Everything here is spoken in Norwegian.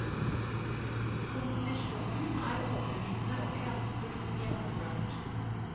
Komposisjonen er overbevisende og kraftfullt gjennomført.